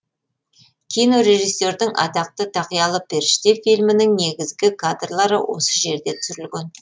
кинорежиссердің атақты тақиялы періште фильмінің негізгі кадрлары осы жерде түсірілген